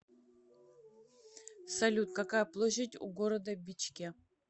салют какая площадь у города бичке